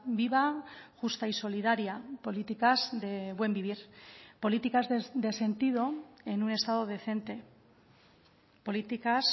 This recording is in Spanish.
viva justa y solidaria políticas de buen vivir políticas de sentido en un estado decente políticas